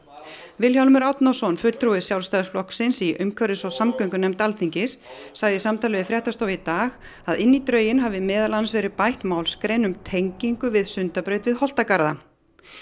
Vilhjálmur Árnason fulltrúi Sjálfstæðisflokksins í umhverfis og samgöngunefnd Alþingis sagði í samtali við fréttastofu í dag að inn í drögin hafi meðal annars verið bætt málsgrein um tengingu við Sundabraut við Holtagarða